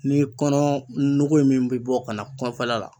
Ni kɔnɔɔnɔgɔ in min be bɔ ka na kɔfɛla la